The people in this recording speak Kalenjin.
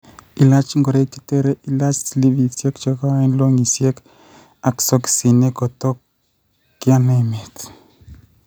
Ilaach ng'oroik chetere ilaach slevisiek chekoeen ,longisiek ak sokisinik kotkoyan emeet